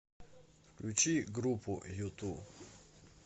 включи группу юту